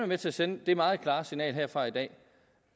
med til at sende det meget klare signal herfra i dag